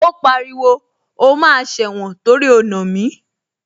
Ó pariwo, o máa sẹ̀wọ̀n torí o nà mí